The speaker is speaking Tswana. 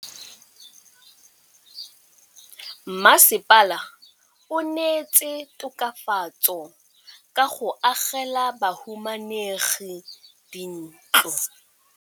Mmasepala o neetse tokafatsô ka go agela bahumanegi dintlo.